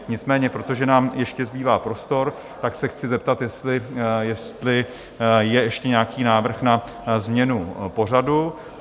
Nicméně protože nám ještě zbývá prostor, tak se chci zeptat, jestli je ještě nějaký návrh na změnu pořadu?